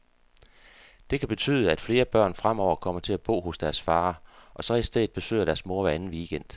Det kan betyde, at flere børn fremover kommer til at bo hos deres far, og så i stedet besøger deres mor hver anden weekend.